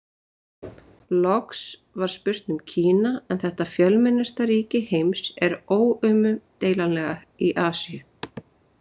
Loks var spurt um Kína en þetta fjölmennasta ríki heims er óumdeilanlega í Asíu.